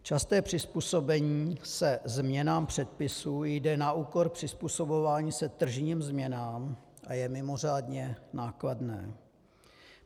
Časté přizpůsobení se změnám předpisů jde na úkor přizpůsobování se tržním změnám a je mimořádně nákladné.